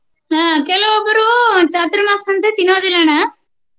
ಹ್ಮ ಕೆಲವೊಬ್ರು ಚಾತುರ್ಮಾಸ ಅಂತಾ ತಿನ್ನುದಿಲ್ಲ ಅಣ್ಣ.